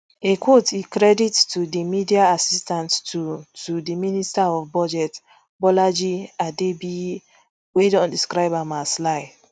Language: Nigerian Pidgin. a quote e credit to di media assistant to to the minister of budget bolaji adebiyi wey don describe am as lie